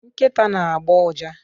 nkịta na-agbọ ụja